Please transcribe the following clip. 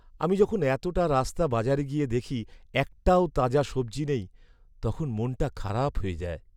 আমি যখন এতটা রাস্তা বাজারে গিয়ে দেখি একটাও তাজা সবজি নেই তখন মনটা খারাপ হয়ে যায়।